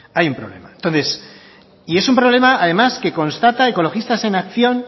hay un problema entonces y es un problema además que constata ecologistas en acción